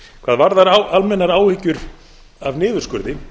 hvað varðar almennar áhyggjur af niðurskurði